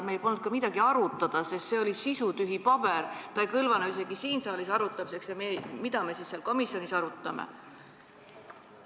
Meil polnud midagi arutada, sest see oli sisutühi paber, see ei kõlvanud isegi siin saalis arutamiseks, mida me siis seal komisjonis arutanud oleksime.